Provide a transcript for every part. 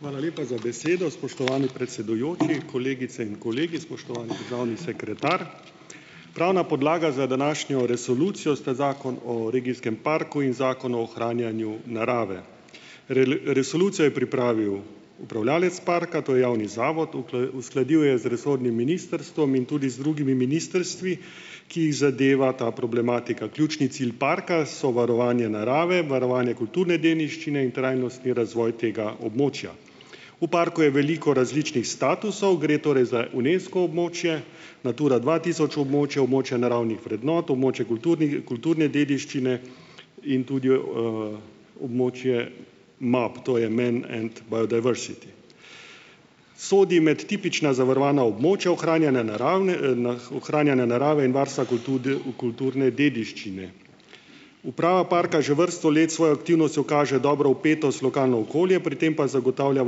Hvala lepa za besedo, spoštovani predsedujoči. Kolegice in kolegi, spoštovani državni sekretar! Pravna podlaga za današnjo resolucijo sta Zakon o regijskem parku in Zakon o ohranjanju narave. resolucijo je pripravil upravljavec parka, to je javni zavod, uskladil jo je z resornim ministrstvom in tudi z drugimi ministrstvi, ki jih zadeva ta problematika. Ključni cilj parka so varovanje narave, varovanje kulturne dediščine in trajnostni razvoj tega območja. V parku je veliko različnih statusov, gre torej za Unesco območje, Natura dva tisoč območje, območje naravnih vrednot, območje kulturne dediščine in tudi, območje MAP, to je . Sodi med tipična zavarovana območja ohranjanja naravne, ohranjanja narave in varstva kulturne dediščine. Uprava parka že vrsto let s svojo aktivnostjo kaže dobro vpetost v lokalno okolje, pri tem pa zagotavlja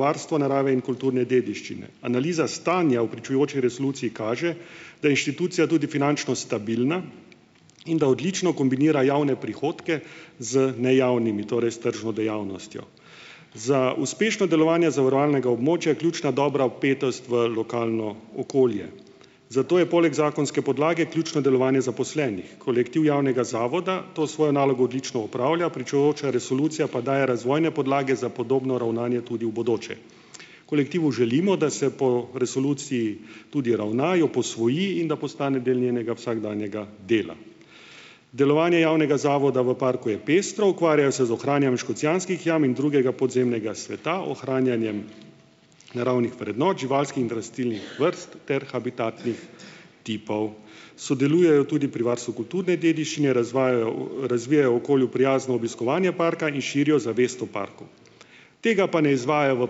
varstvo narave in kulturne dediščine. Analiza stanja v pričujoči resoluciji kaže, da inštitucija tudi finančno stabilna, in da odlično kombinira javne prihodke z nejavnimi, torej s tržno dejavnostjo. Za uspešno delovanje zavarovalnega območja je ključna dobra vpetost v lokalno okolje. Zato je poleg zakonske podlage ključno delovanje zaposlenih. Kolektiv javnega zavoda to svojo nalogo odlično opravlja, pričujoča resolucija pa daje razvojne podlage za podobno ravnanje tudi v bodoče. Kolektivu želimo, da se po resoluciji tudi ravna, jo posvoji, in da postane del njenega vsakdanjega dela. Delovanje javnega zavoda v parku je pestro, ukvarjajo se z ohranjanjem Škocjanskih jam in drugega podzemnega sveta, ohranjanjem naravnih vrednot živalskih in rastlinskih vrst ter habitatnih tipov. Sodelujejo tudi pri varstvu kulturne dediščine, razvajajo, razvijajo okolju prijazno obiskovanje parka in širijo zavest o parku. Tega pa ne izvajajo v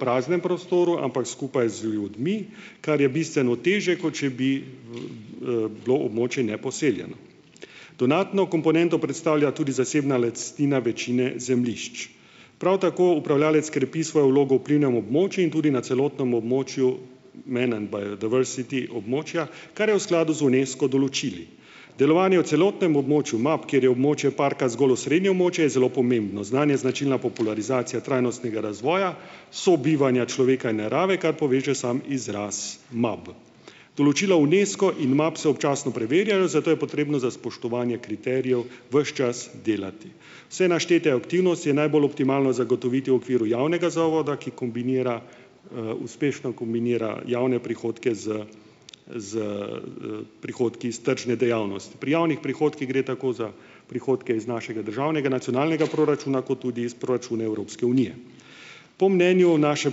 praznem prostoru, ampak skupaj z ljudmi, kar je bistveno težje, kot če bi, bilo območje neposeljeno. Dodatno komponento predstavlja tudi zasebna lastnina večine zemljišč. Prav tako upravljavec krepi svojo vlogo v vplivnem območju in tudi na celotnem območju območja, kar je v skladu z Unesco določili. Delovanje v celotnem območju MAP, kjer je območje parka zgolj osrednje območje, je zelo pomembno. Znanj je značilna popularizacija trajnostnega razvoja, sobivanja človeka in narave, kar poveže samo izras MAP. Določila Unesco in MAP se občasno preverjajo, zato je potrebno za spoštovanje kriterijev ves čas delati. Vse naštete aktivnosti je najbolj optimalno zagotoviti v okviru javnega zavoda, ki kombinira, uspešno kombinira javne prihodke z z, prihodki iz tržne dejavnosti. Pri javnih prihodkih gre tako za prihodke iz našega državnega nacionalnega proračuna kot tudi iz proračuna Evropske unije. Po mnenju naše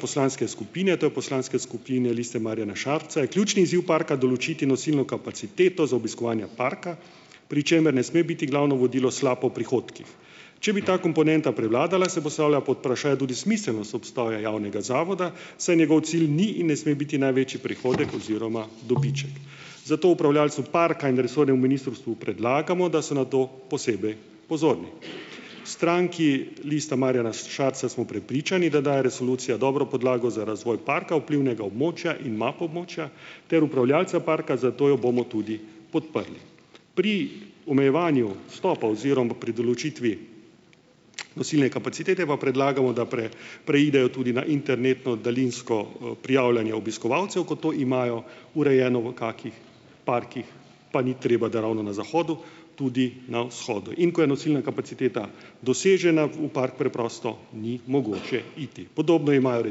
poslanske skupine, to je poslanske skupine Liste Marjana Šarca je ključni izziv parka določiti nosilno kapaciteto za obiskovanja parka, pri čemer ne sme biti glavno vodilo sla po prihodkih. Če bi ta komponenta prevladala, se postavlja pod vprašaj tudi smiselnost obstoja javnega zavoda, saj njegov cilj ni in ne sme biti največji prihodek oziroma dobiček. Zato upravljavcu parka in resornemu ministrstvu predlagamo, da so na to posebej pozorni. V stranki Lista Marjana Šarca smo prepričani, da daje resolucija dobro podlago za razvoj parka, vplivnega območja in MAP območja ter upravljavca parka, zato jo bomo tudi podprli. Pri omejevanju vstopa oziroma pri določitvi, nosilne kapacitete pa predlagamo, da preidejo tudi na internetno daljinsko, prijavljanje obiskovalcev, kot to imajo urejeno v kakih parkih, pa ni treba, da ravno na zahodu, tudi na vzhodu. In ko je nosilna kapaciteta dosežena, v park preprosto ni mogoče iti. Podobno imajo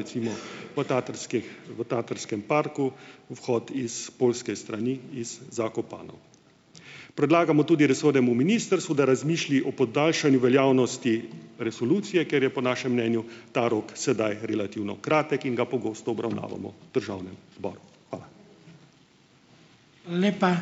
recimo v Taterskih, v Taterskem parku, vhod iz poljske strani, iz Zakopane. Predlagamo tudi resornemu ministrstvu, da razmisli o podaljšanju veljavnosti resolucije, ker je po našem mnenju ta rok sedaj relativno kratek in ga pogosto obravnavamo v državnem zboru. Hvala. Lepa ...